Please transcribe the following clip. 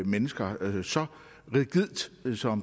mennesker så rigidt som